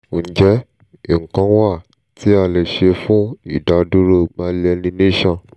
ǹjẹ́ nǹkan wà tí a lè ṣe fún ìdádúró myelination?